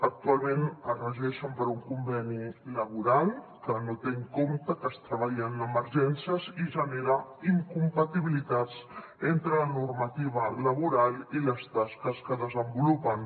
actualment es regeixen per un conveni laboral que no té en compte que es treballa en emergències i genera incompatibilitats entre la normativa laboral i les tasques que desenvolupen